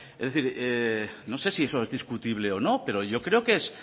es decir no sé si eso es discutible o no pero yo creo que es